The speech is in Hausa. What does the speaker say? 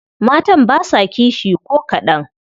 Matan basa kishi ko kadan.